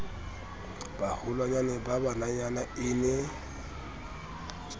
baholwanyane ba bananyana e ne